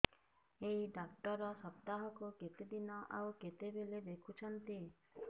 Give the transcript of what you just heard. ଏଇ ଡ଼ାକ୍ତର ସପ୍ତାହକୁ କେତେଦିନ ଆଉ କେତେବେଳେ ଦେଖୁଛନ୍ତି